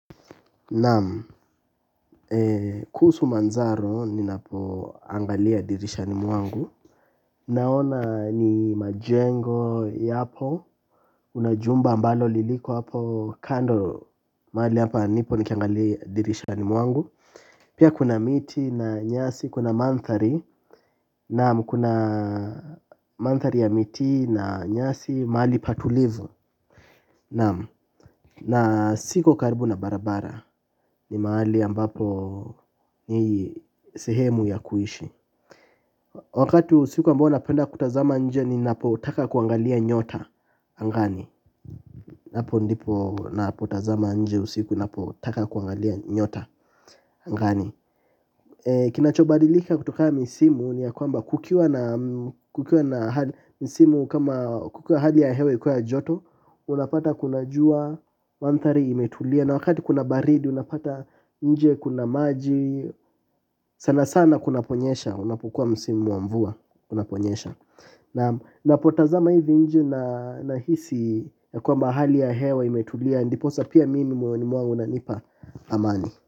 Naam kuhusu manzaro ninapoangalia dirishani mwangu. Naona ni majengo yapo kuna jumba ambalo liliko hapo kando mahali hapa nipo nikiangalia dirishani mwangu. Pia kuna miti na nyasi kuna mandhari naam kuna mandhari ya miti na nyasi mahali pa tulivu. Na siko karibu na barabara ni mahali ambapo ni sehemu ya kuishi. Wakati wa usiku ambao napenda kutazama nje ninapotaka kuangalia nyota angani hapo ndipo napotazama nje usiku napotaka kuangalia nyota angani. Kinachobadilika kutokana misimu ni ya kwamba kukiwa na hali misimu kama kukiwa hali ya hewa ikuwe ya joto unapata kuna jua mandhari imetulia na wakati kuna baridi unapata nje kuna maji sana sana kunaponyesha unapokuwa msimu wa mvua unaponyesha napotazama hivi nje na nahisi ya kuwa mahali ya hewa imetulia ndiposa pia mimi moyoni mwangu unanipa amani.